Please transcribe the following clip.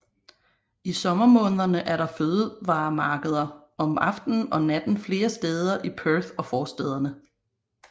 I sommermånederne er der fødevaremarkeder om aftenen og natten flere steder i Perth og forstæderne